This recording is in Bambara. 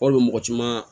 Walima mɔgɔ caman